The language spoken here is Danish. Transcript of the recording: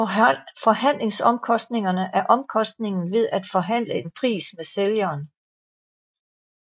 Forhandlingsomkostningerne er omkostningen ved at forhandle en pris med sælgeren